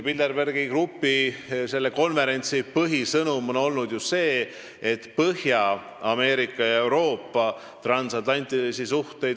Bilderbergi grupi konverentsi põhisõnum on ju olnud hoida ja edasi arendada Põhja-Ameerika ja Euroopa transatlantilisi suhteid.